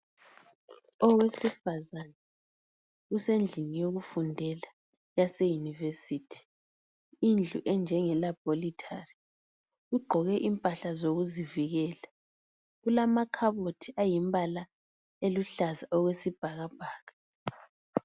Owesifazana usendlini yekufundela yase univesithi. Indlu enjengelabhorithali ugqoko impahla zokuzivikela , kulamakhabothi ayimpala eluhlaza okwesibhakabhaka .